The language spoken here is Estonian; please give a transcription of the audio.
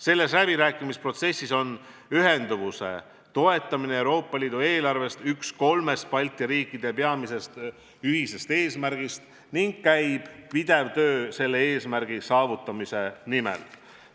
Selles läbirääkimisprotsessis on Euroopa Liidu eelarvest ühenduvuse toetamine üks kolmest Balti riikide peamisest ühisest eesmärgist ning käib pidev töö selle eesmärgi saavutamise nimel.